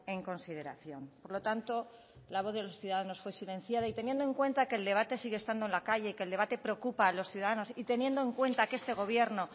en consideración por lo tanto la voz de los ciudadanos fue silenciada y teniendo en cuenta que el debate sigue estando en la calle que el debate preocupa a los ciudadanos y teniendo en cuenta que este gobierno